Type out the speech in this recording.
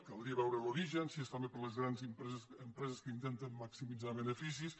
caldria veure’n l’origen si és també per les gran empreses que intenten maximitzar beneficis